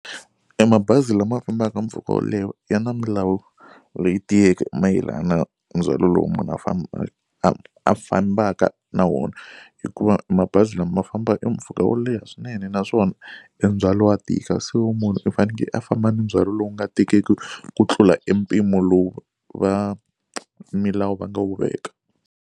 E mabazi lama fambaka mpfhuka wo leha ya na milawu leyi tiyeke mayelana ndzhwalo lowu munhu a a fambaka na wona hikuva mabazi lama ma famba e mpfhuka wo leha swinene naswona e ndzhwalo wa tika so munhu i faneke a famba ni ndzhwalo lowu nga tikiki ku tlula e mpimo lowu va milawu va nga wu veka.